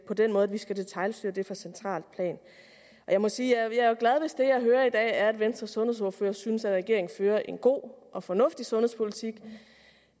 på den måde at vi skal detailstyre det fra centralt plan jeg må sige at jeg jo er glad hvis det jeg hører i dag er at venstres sundhedsordfører synes at regeringen fører en god og fornuftig sundhedspolitik